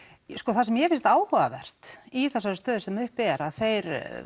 það sem mér finnst áhugavert í þessari stöðu sem uppi er er að þeir